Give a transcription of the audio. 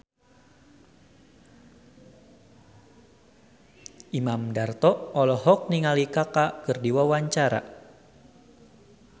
Imam Darto olohok ningali Kaka keur diwawancara